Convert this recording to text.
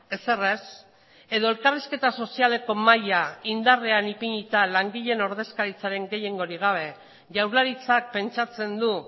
ezer ez edo elkarrizketa sozialeko mahaia indarrean ipinita langileen ordezkaritzaren gehiengorik gabe jaurlaritzak pentsatzen du